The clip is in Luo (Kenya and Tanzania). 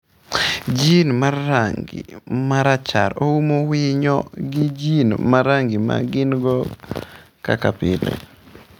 Jin mar rangi marachar oumo winyo gi jin mar rangi ma gin-go kaka pile.